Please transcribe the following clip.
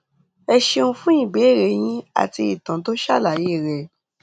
ẹ ṣeun fún ìbéèrè yín àti ìtàn tó ṣàlàyé rẹ